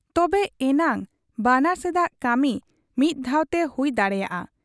ᱛᱚᱵᱮ ᱮᱱᱟᱝ ᱵᱟᱱᱟᱨ ᱥᱮᱫᱟᱜ ᱠᱟᱹᱢᱤ ᱢᱤᱫ ᱫᱷᱟᱣᱛᱮ ᱦᱩᱭ ᱫᱟᱲᱮᱭᱟᱟᱜ ᱟ ᱾